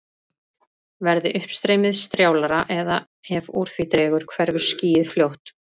Verði uppstreymið strjálara eða ef úr því dregur hverfur skýið fljótt.